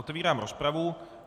Otevírám rozpravu.